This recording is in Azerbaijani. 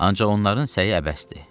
Ancaq onların səyi əbəsdir.